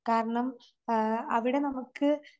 കാരണം ആഹ് അവിടെ നമുക്ക്